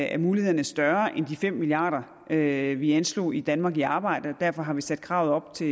at mulighederne er større end de fem milliard kr vi anslog i danmark i arbejde og derfor har vi sat kravet op til